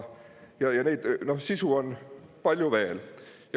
Ja sisu on palju veel.